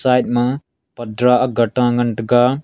side ma patdar gata ngan taiga.